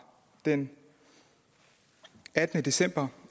den attende december